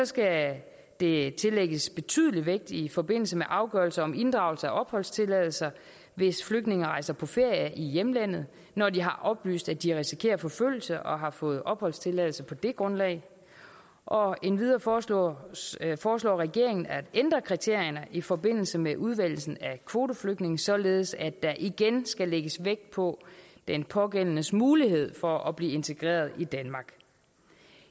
skal det tillægges betydelig vægt i forbindelse med afgørelser om inddragelse af opholdstilladelse hvis flygtninge rejser på ferie i hjemlandet når de har oplyst at de risikerer forfølgelse og har fået opholdstilladelse på det grundlag og endvidere foreslår foreslår regeringen at ændre kriterierne i forbindelse med udvælgelsen af kvoteflygtninge således at der igen skal lægges vægt på den pågældendes mulighed for at blive integreret i danmark